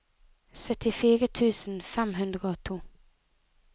syttifire tusen fem hundre og to